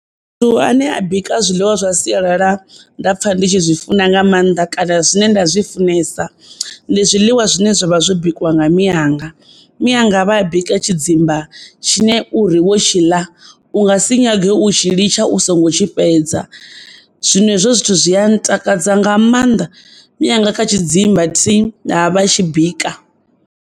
Muthu ane a bika zwiḽiwa zwa sialala nda pfha ndi tshi zwi funa nga mannḓa kana zwine nda zwi funesa ndi zwiḽiwa zwine zwavha zwo bikiwa nga mianga. Mianga vha a bika tshidzimba tshine uri wo tshi ḽa u nga si nyage u tshi litsha u songo tshi fhedza zwino hezwo zwithu zwi a ntakadza nga mannḓa. Mianga kha tshidzimba thi, ha, vha a tshi bika.